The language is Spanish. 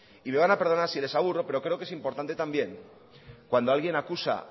y me van a perdonar si les aburro pero creo que es importante también que